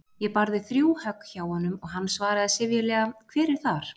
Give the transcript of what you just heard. Ég barði þrjú högg hjá honum og hann svaraði syfjulega: Hver er þar?